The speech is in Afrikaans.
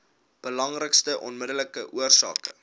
belangrikste onmiddellike oorsake